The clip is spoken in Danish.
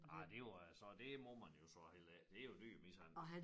Ej det var så det må man jo så heller ikke det jo dyremishandling